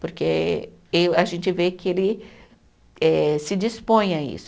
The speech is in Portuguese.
Porque eu, a gente vê que ele eh se dispõe a isso.